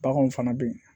Baganw fana bɛ yen